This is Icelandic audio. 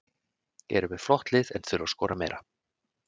Eru með flott lið en þurfa að skora meira.